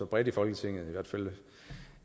bredt i folketinget